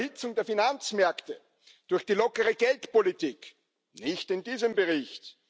Die Überhitzung der Finanzmärkte durch die lockere Geldpolitik nicht in diesem Bericht.